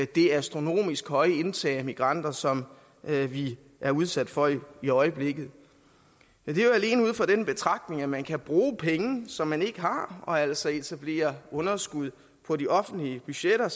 det astronomisk høje indtag af migranter som vi er udsat for i øjeblikket det er jo alene ud fra den betragtning at man kan bruge penge som man ikke har og altså etablere underskud på de offentlige budgetter